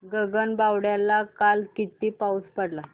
गगनबावड्याला काल किती पाऊस पडला